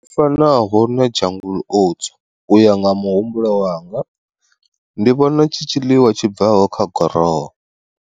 Fanaho na jungle oats uya nga muhumbulo wanga, ndi vhona tshi tshiḽiwa tshi bvaho kha goroho.